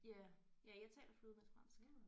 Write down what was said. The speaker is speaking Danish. Ja ja jeg taler flydende fransk